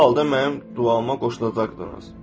Bu halda mənim duama qoşulacaqsınız.